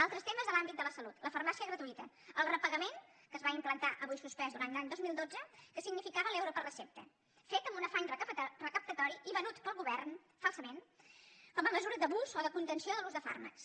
altres temes de l’àmbit de la salut la farmàcia gratuïta el repagament que es va implantar avui suspès durant l’any dos mil dotze que significava l’euro per recepta fet amb un afany recaptatori i venut pel govern falsament com a mesura d’abús o de contenció de l’ús de fàrmacs